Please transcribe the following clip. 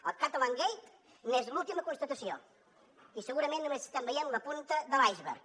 el catalangate n’és l’última constatació i segurament només estem veient la punta de l’iceberg